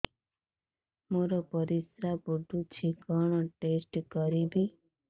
ମୋର ପରିସ୍ରା ପୋଡୁଛି କଣ ଟେଷ୍ଟ କରିବି